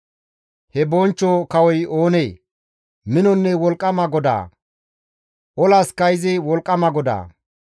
He Bonchcho Kawoy oonee? Minonne wolqqama GODAA! Olaska izi wolqqama GODAA!